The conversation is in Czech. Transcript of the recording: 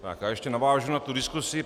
Tak já ještě navážu na tu diskusi.